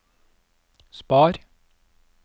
spar